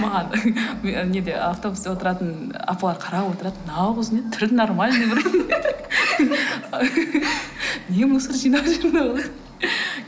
маған неде автобуста отыратын апалар қарап отырады мынау қыз не түрі нормальный вроде не мусор жинап жүр мына қыз